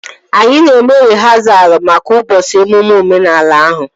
Anyị na-eme rịhasal maka ụbọchị emume omenala ahụ